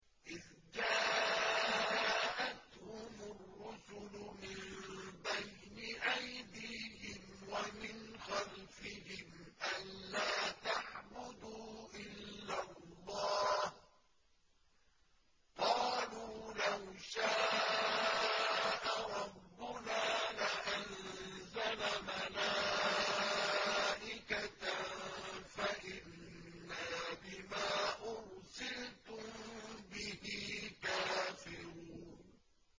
إِذْ جَاءَتْهُمُ الرُّسُلُ مِن بَيْنِ أَيْدِيهِمْ وَمِنْ خَلْفِهِمْ أَلَّا تَعْبُدُوا إِلَّا اللَّهَ ۖ قَالُوا لَوْ شَاءَ رَبُّنَا لَأَنزَلَ مَلَائِكَةً فَإِنَّا بِمَا أُرْسِلْتُم بِهِ كَافِرُونَ